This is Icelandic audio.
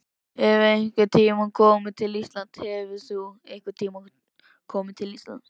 Hefurðu einhvern tíma komið til Íslands?